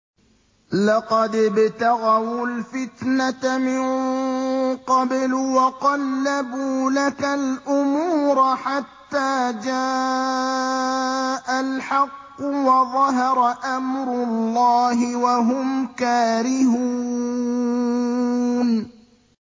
لَقَدِ ابْتَغَوُا الْفِتْنَةَ مِن قَبْلُ وَقَلَّبُوا لَكَ الْأُمُورَ حَتَّىٰ جَاءَ الْحَقُّ وَظَهَرَ أَمْرُ اللَّهِ وَهُمْ كَارِهُونَ